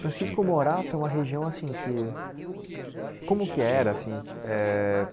Francisco Morato é uma região assim que... Como que que era assim? Eh